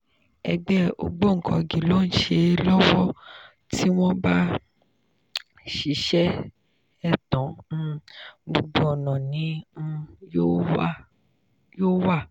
ẹgbẹ́ ògbóǹkangí ló ń ṣe é lọ́wọ́ tí wọ́n bá sì ṣe é tán um gbogbo ọ̀nà ni um yóò wà.